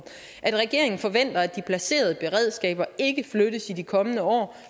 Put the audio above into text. at regeringen forventer at de placerede beredskaber ikke flyttes i de kommende år